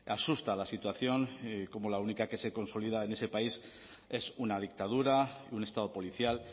asusta la situación cómo la única que se consolida en ese país es una dictadura un estado policial